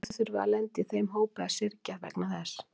En af hverju þurfum við að lenda í þeim hópi að syrgja vegna þess?